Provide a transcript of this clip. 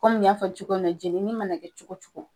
Kɔmi n y'a fɔ cogo min na jɛnini mana kɛ cogo cogo